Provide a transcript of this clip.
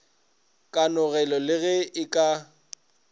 kanogelo le ge e ka